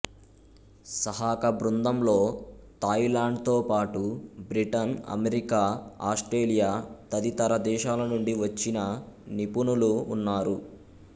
సహకబృందంలో థాయిలాండ్తో పాటు బ్రిటన్అమెరికాఆస్ట్రేలియా తదితర దేశాలనుండి వచ్చిన నిపుణులు వున్నారు